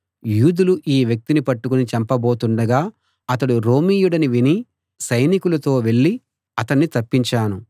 యూదులు ఈ వ్యక్తిని పట్టుకుని చంపబోతుండగా అతడు రోమీయుడని విని సైనికులతో వెళ్ళి అతణ్ణి తప్పించాను